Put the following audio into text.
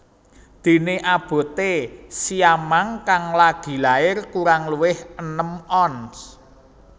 Déné aboté siamang kang lagi lair kurang luwih enem ons